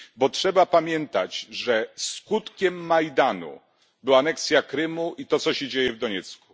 Bo trzeba pamiętać, że skutkiem Majdanu była aneksja Krymu i to, co się dzieje w Doniecku.